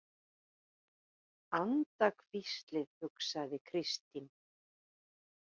Andahvíslið, hugsaði Kristín.